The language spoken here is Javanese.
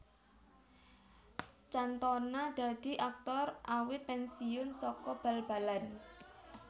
Cantona dadi aktor awit pensiun saka bal balan